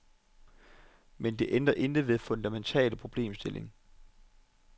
Men det ændrer intet ved den fundamentale problemstilling.